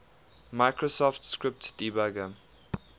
microsoft script debugger